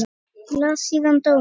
Og las síðan dóma.